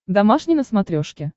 домашний на смотрешке